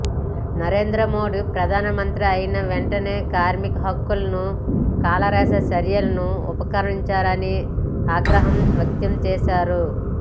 నరేంద్ర మోడీ ప్రధానమంత్రి అయిన వెంటనే కార్మికుల హక్కులను కాలరాసే చర్యలకు ఉపక్రమించారని ఆగ్ర హం వ్యక్తంచేశారు